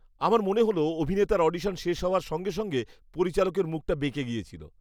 আমার মনে হল, অভিনেতার অডিশন শেষ হওয়ার সঙ্গে সঙ্গে পরিচালকের মুখটা বেঁকে গিয়েছিল।